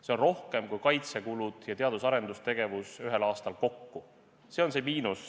See on rohkem kui kaitsekulud ja teadus- ja arendustegevus ühel aastal kokku, see on see miinus.